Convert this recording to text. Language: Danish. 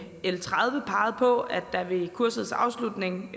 l tredive peget på at der ved kursets afslutning